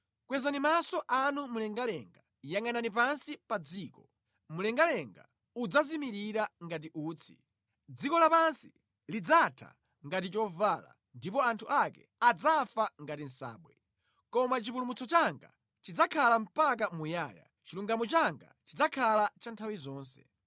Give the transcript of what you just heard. Kwezani maso anu mlengalenga, yangʼanani pansi pa dziko; mlengalenga udzazimirira ngati utsi, dziko lapansi lidzatha ngati chovala ndipo anthu ake adzafa ngati nsabwe. Koma chipulumutso changa chidzakhala mpaka muyaya, chilungamo changa chidzakhala cha nthawi zonse.